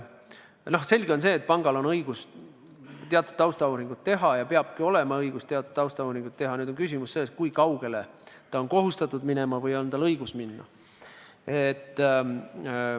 Selge see, et pangal on õigus teatud taustauuringut teha ja tal peabki olema õigus teatud taustauuringut teha, aga küsimus on selles, kui kaugele ta on kohustatud minema või tal on õigus minna.